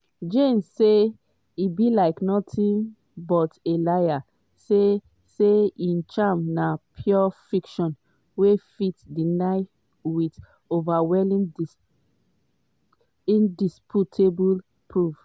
jnes say e be "nothing but a liar" say say im claims na "pure fiction" wey fit denied wit "overwhelming indisputable proof".